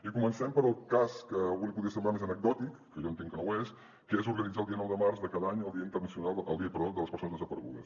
i comencem pel cas que a algú li podria semblar més anecdòtic que jo entenc que no ho és que és organitzar el dia nou de març de cada any el dia de les persones desaparegudes